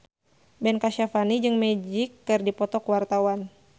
Ben Kasyafani jeung Magic keur dipoto ku wartawan